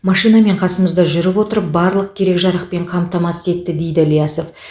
машинамен қасымызда жүріп отырып барлық керек жарақпен қамтамасыз етті дейді ілиясов